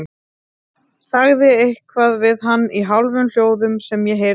Sagði eitthvað við hann í hálfum hljóðum sem ég heyrði ekki.